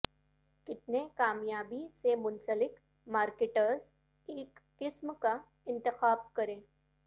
کتنے کامیابی سے منسلک مارکیٹرز ایک قسم کا انتخاب کریں